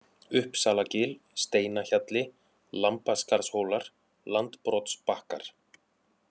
Uppsalagil, Steinahjalli, Lambaskarðshólar, Landbrotsbakkar